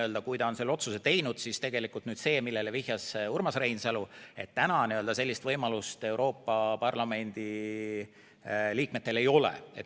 Ehk kui ta on selle otsuse teinud, siis tegelikult täna sellist võimalust, millele vihjas Urmas Reinsalu, Euroopa Parlamendi liikmetel ei ole.